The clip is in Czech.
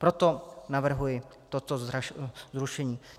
Proto navrhuji toto zrušení.